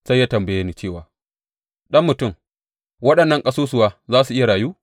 Sai ya tambaye ni cewa, Ɗan mutum, waɗannan ƙasusuwa za su iya rayu?